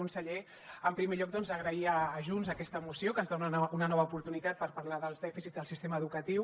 conseller en primer lloc agrair a junts aquesta moció que ens dona una nova oportunitat per parlar dels dèficits del sistema educatiu